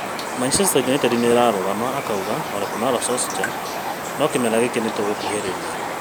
Man-U nĩĩrarũgama akauga Ole Kunnar Solskjaer ‘’no kĩmera gĩkĩ ngũĩciria nĩtũgũkuhĩrĩria’’